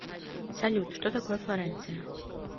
салют что такое флоренция